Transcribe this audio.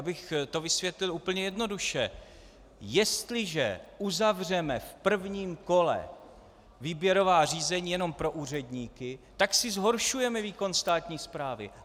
Abych to vysvětlil úplně jednoduše: Jestliže uzavřeme v prvním kole výběrová řízení jenom pro úředníky, tak si zhoršujeme výkon státní správy.